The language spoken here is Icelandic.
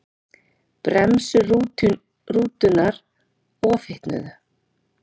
Bremsur rútunnar ofhitnuðu